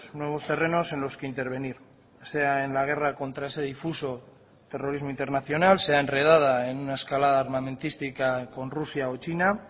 nuevos terrenos en los que intervenir sea en la guerra contra ese difuso terrorismo internacional sea enredada en una escalada armamentística con rusia o china